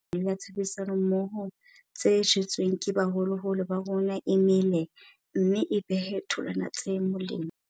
Thuto eo re ithutileng yona bothateng ba COVID-19 e entse hore peo ya kopano le ya tshebedisano mmoho tse jetsweng ke baholoholo ba rona e mele mme e behe tholwana tse molemo.